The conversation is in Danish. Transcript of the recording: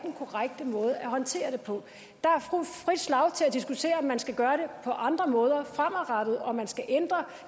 korrekte måde at håndtere det på der er frit slag til at diskutere om man skal gøre det på andre måder fremadrettet om man skal ændre